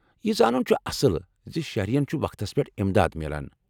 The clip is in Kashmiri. یہ زانٛن چھ اصل ز شہرین چھٗ وقتس پٮ۪ٹھ امداد میلان ۔